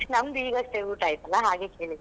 ನಮ್ದು ಈಗಷ್ಟೇ ಊಟ ಆಯಿತಲ್ಲಾ ಹಾಗೆ ಕೇಳಿದ್ದು.